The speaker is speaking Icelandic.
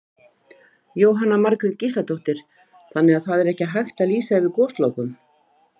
Jóhanna Margrét Gísladóttir: Þannig að það er ekki hægt að lýsa yfir goslokum?